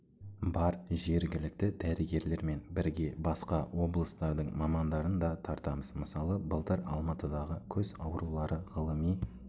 бар жергілікті дәрігерлермен бірге басқа облыстардың мамандарын да тартамыз мысалы былтыр алматыдағы көз аурулары ғылыми